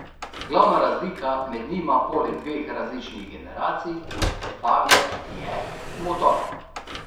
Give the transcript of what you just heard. Glavna razlika med njima poleg dveh različnih generacij fabie je motor.